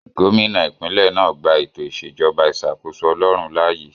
Gómìnà ìpínlẹ̀ náà gbà ètò ìṣèjọba ìṣàkóso ọlọrun láàyè